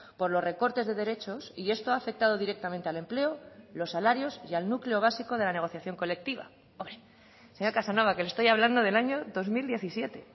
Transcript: por los recortes de derechos y esto ha afectado directamente al empleo los salarios y al núcleo básico de la negociación colectiva señor casanova que le estoy hablando del año dos mil diecisiete